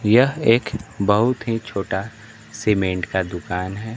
यह एक बहुत ही छोटा सीमेंट का दुकान है।